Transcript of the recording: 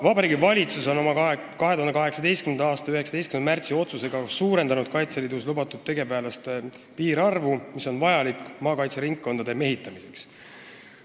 Vabariigi Valitsus on oma 2018. aasta 19. märtsi otsusega suurendanud Kaitseliidus lubatud tegevväelaste piirarvu, mis on vajalik maakaitseringkondade mehitamiseks.